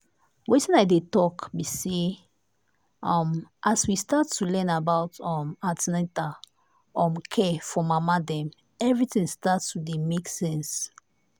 wetin i dey talk be say um as we start to learn about um an ten atal um care for mama dem everything start to dey make sense.